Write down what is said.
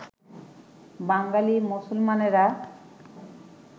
বাঙালী মুসলমানেরা